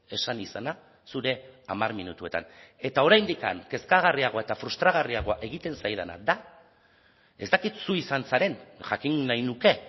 esan izana zure hamar minutuetan eta oraindik kezkagarriagoa eta frustragarriagoa egiten zaidana da ez dakit zu izan zaren jakin nahi nuke